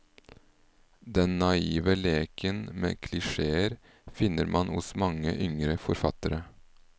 Den naive leken med klisjéer finner man hos mange yngre forfattere.